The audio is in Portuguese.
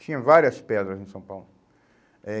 Tinha várias pedras em São Paulo. Eh